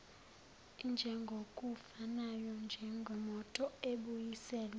injengokufanayo njengemoto ebuyiselelwa